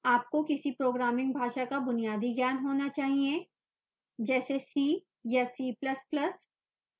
आपको किसी programming भाषा का बुनियादी ज्ञान होना चाहिए जैसे c या c ++